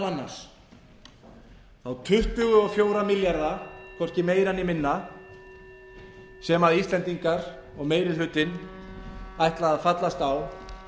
annars þá tuttugu og fjóra milljarða hvorki meira né minna sem íslendingar og meiri hlutinn ætla að fallast á